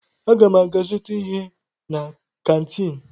Aga m aga zụta ihe na kantiin.